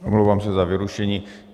Omlouvám se za vyrušení.